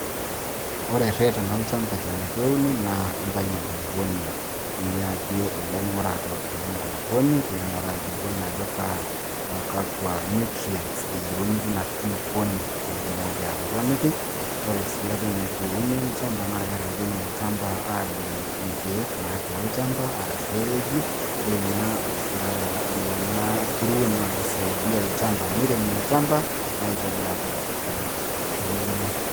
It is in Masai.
ore ereten olchampa eton eitu euni naa intayu enkulupuoni, niyaki ilaing'urak le nkulupuoni, pee ing'uraa enkulupuoni ajo kaa, kakua nutrients eyieuni teina kulupuoni pee itumoki atoponiki, ore sii eitu euni olchampa naa kereteni olchampa aadung' inkeek natii olchampa. arashu epeji, ore ina, aa nena kuruon naa kisaidia olchampa, neiremi olchampa aitobiraki eton eitu euni.